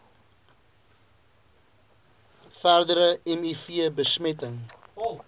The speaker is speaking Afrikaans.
verdere miv besmetting